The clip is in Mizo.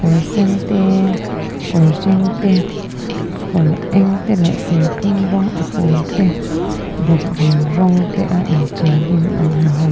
kawr sen te kawr hring te kawr eng te leh serthlum rawng a pâwl te bawkbawn rawng te a in ṭial in an ha hlawm a--